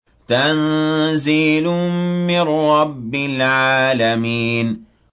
تَنزِيلٌ مِّن رَّبِّ الْعَالَمِينَ